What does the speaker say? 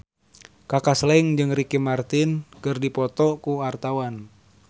Kaka Slank jeung Ricky Martin keur dipoto ku wartawan